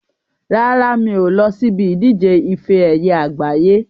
Rárá, mi ò lọ síbi ìdíje ife ẹyẹ àgbáyé.